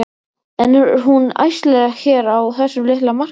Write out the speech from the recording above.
En er hún æskileg hér á þessum litla markaði?